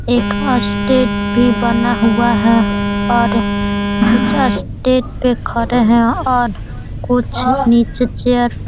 एक अस्टेट भी बना हुआ है और इस स्टेट पे खड़े हैं और कुछ नीचे चेयर --